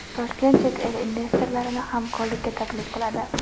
Toshkent chet el investorlarini hamkorlikka taklif qiladi.